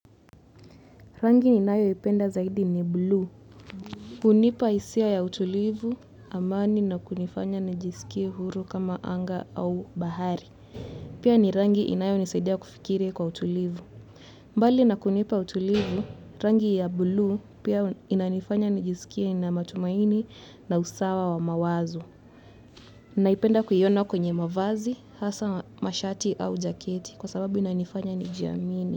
Rangi ninayoipenda zaidi ni bluu hunipa hisia ya utulivu, amani na kunifanya nijisikie huru kama anga au bahari. Pia ni rangi inayonisaidia kufikiri kwa utulivu. Mbali na kunipa utulivu, rangi ya blue pia inanifanya nijisikie na matumaini na usawa wa mawazo naipenda kuiona kwenye mavazi, hasa mashati au jaketi kwa sababu inanifanya nijiamini.